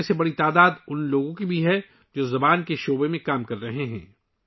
ان میں ایک بڑی تعداد ، ان لوگوں کی بھی ہے ، جو زبان کے شعبے میں کام کر رہے ہیں